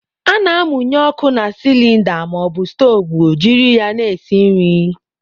A na-amụnye ọkụ na sịlịnda maọbụ stoovu jiri ya na-esi nri.